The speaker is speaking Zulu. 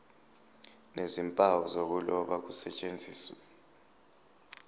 nezimpawu zokuloba kusetshenziswe